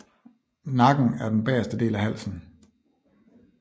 Nakken er den bagerste del af halsen